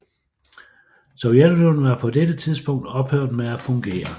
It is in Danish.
Sovjetunionen var på dette tidlspunkt ophørt med at fungere